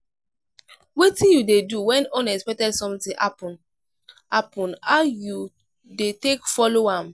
wetin you dey do when unexpected something happen happen how you dey take follow am?